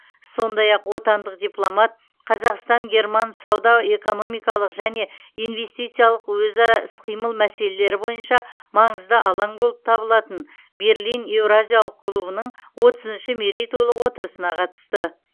сондай ақ отандық дипломат қазақстан герман сауда экономикалық және инвестициялық өзара іс қимыл мәселелері бойынша маңызды алаң болып табылатын берлин еуразиялық клубының отызыншы мерейтойлық отырысына қатысты